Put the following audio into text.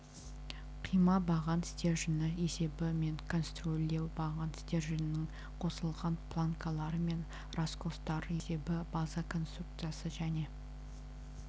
қима баған стержені есебі мен конструирлеуі баған стерженінің қосылған планкалары мен раскостар есебі база конструкциясы және